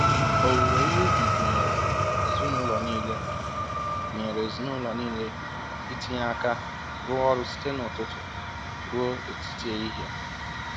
Owuwe ihe ubi gụnyere ezinụlọ nile gụnyere ezinụlọ nile itinye aka rụọ ọrụ site n'ụtụtụ ruo etiti ehihie.